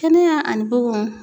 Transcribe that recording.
Kɛnɛya ani bugunw.